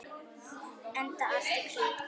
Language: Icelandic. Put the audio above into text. Enda allt í kring.